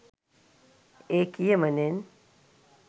ඒ කියමනෙන්